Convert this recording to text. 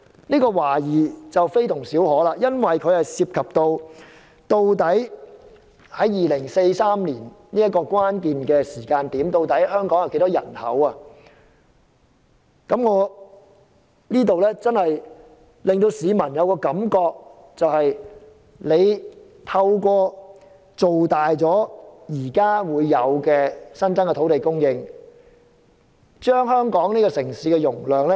問題非同小可，涉及到在2043年這個關鍵時間，究竟香港有多少人口，亦令市民懷疑政府是否要透過增加土地供應，加大香港的城市容量。